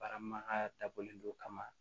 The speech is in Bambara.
Baaramakaya dabɔlen don ka ma